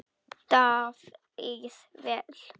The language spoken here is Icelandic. Davíð: Vel.